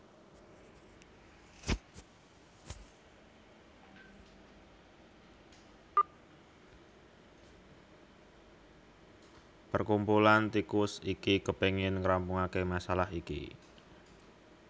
Perkumpulan tikus iki kepingin ngrampungaké masalah iki